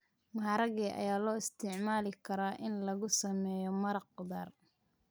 Maharage ayaa loo isticmaali karaa in lagu sameeyo maraq khudaar.